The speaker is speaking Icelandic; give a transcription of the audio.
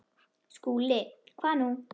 SKÚLI: Hvað nú?